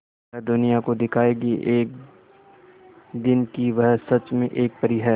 वह दुनिया को दिखाएगी एक दिन कि वह सच में एक परी है